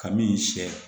Ka min sɛ